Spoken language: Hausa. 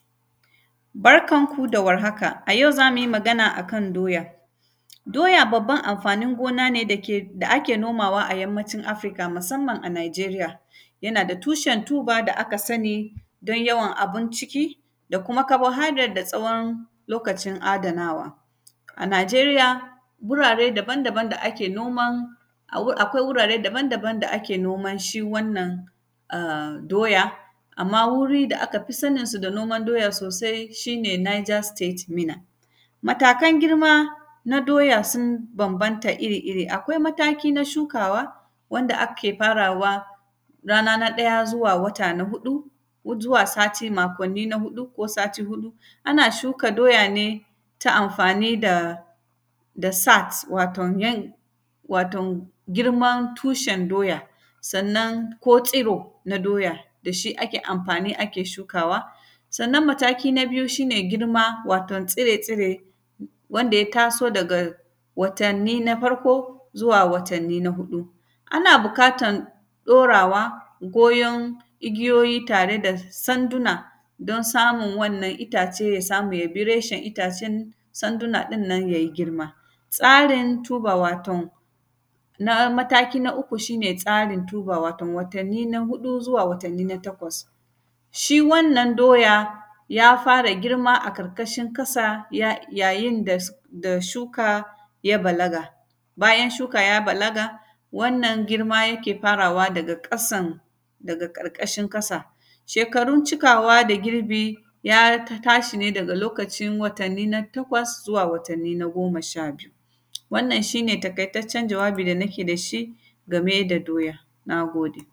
Barkan ku da warhaka, a yau za mu yi magana a kan doya. Doya, babban amfanin gona ne dake, da ake nomawa a Yammacin Afirka, musamman a Naijeriya. Yana da tushen “tuber” da aka sani, don yawan abin ciki da kuma “carbohydrate” da tsawon lokacin adanawa. A Naijeriya, gurare daban-daban da ake noman, awu; akwai wurare daban-daban da ake noman shi wannan a; doya, amma wuri da aka fi saninsu da noman doya sosai, shi ne “Niger State Minna”. Matakan girma na doya, sun bambanta iri-iri, akwai mataki na shukawa wanda ake farawa rana na ɗaya zuwa wata na huɗu, wujuwa sati makonni na huɗu ko sati huɗu. Ana shuka doya ne ta amfani da, da “sacks” waton yan; waton girman tushen doya. Sannan, ko tsiro na doya, da shi ake amfani ake shukawa. Sannan, mataki na biyu, shi ne girma, waton tsire-tsire, wanda ya taso daga watanni na farko zuwa watanni na huɗu. Ana bikatan ɗorawa goyon igiyoyi tare da sanduna, don samun wannan itace, ya samu ya bi reshen itacen sanduna ɗin nan, ya yi girma. Tsarin “tuber”, waton, na mataki na uku, shi ne tsarin “tuber”, waton watanni na huɗu zuwa watanni na takwas. Shi wannan doya, ya fara girma a karkashin kasa, ya; yayin da s; da shuka ya balaga. Bayan shuka ya balaga, wannan girma yake farawa daga ƙasan, daga ƙarƙashin ƙasa. Shekarun cikawa da girbi, ya t; tashi ne daga lokacin watanni na takwas zuwa watanni na goma sha biyu. Wannan, shi ne takaitaccen jawabi da nake da shi, game da doya, na gode.